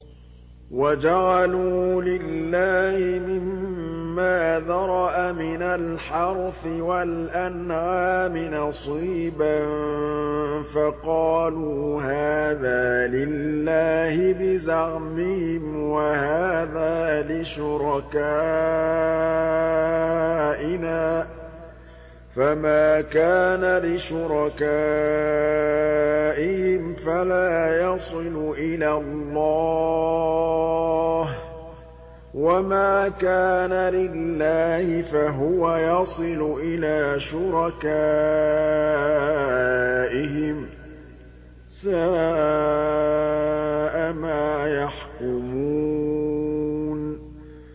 وَجَعَلُوا لِلَّهِ مِمَّا ذَرَأَ مِنَ الْحَرْثِ وَالْأَنْعَامِ نَصِيبًا فَقَالُوا هَٰذَا لِلَّهِ بِزَعْمِهِمْ وَهَٰذَا لِشُرَكَائِنَا ۖ فَمَا كَانَ لِشُرَكَائِهِمْ فَلَا يَصِلُ إِلَى اللَّهِ ۖ وَمَا كَانَ لِلَّهِ فَهُوَ يَصِلُ إِلَىٰ شُرَكَائِهِمْ ۗ سَاءَ مَا يَحْكُمُونَ